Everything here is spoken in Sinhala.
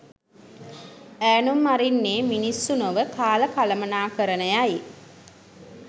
ඈනුම් අරින්නේ මිනිස්සු නොව කාල කළමණාකරණයයි